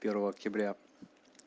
первого октября